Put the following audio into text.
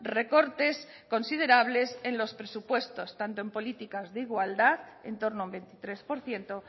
recortes considerables en los presupuestos tanto en políticas de igualdad en torno a un veintitrés por ciento